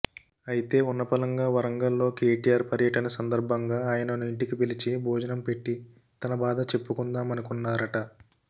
అయితే ఉన్నపళంగా వరంగల్లో కేటిఆర్ పర్యటన సందర్బంగా ఆయనను ఇంటికి పిలిచి భోజనం పెట్టి తన బాధ చెప్పుకుందామనుకుంటున్నారట